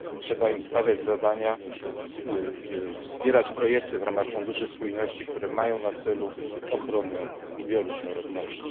Trzeba im stawiać zadania, wspierać projekty w ramach funduszy spójności, które mają na celu ochronę bioróżnorodności.